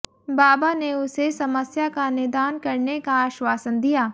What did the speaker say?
बाबा ने उसे समस्या का निदान करने का आश्वासन दिया